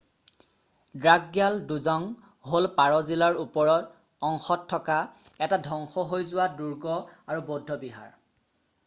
দ্ৰাকগ্যাল ড্জং হ’ল পাৰʼ জিলাৰ ওপৰৰ অংশত থকা এটা ধ্বংস হৈ যোৱা দুৰ্গ আৰু বৌদ্ধ বিহাৰ ফণ্ডে গাঁৱত।